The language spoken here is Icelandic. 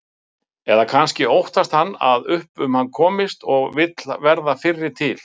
Hugsanlega hefur uppskriftin borist þangað frá Þýskalandi og nafnið með.